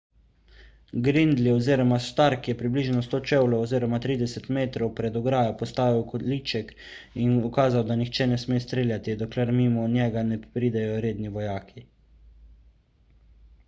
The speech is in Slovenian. gridley oziroma stark je približno 100 čevljev 30 m pred ograjo postavil količek in ukazal da nihče ne sme streljati dokler mimo njega ne pridejo redni vojaki